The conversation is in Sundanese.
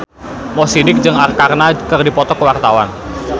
Mo Sidik jeung Arkarna keur dipoto ku wartawan